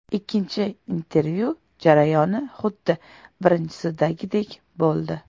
Ikkinchi intervyu jarayoni xuddi birinchisidagidek bo‘ldi.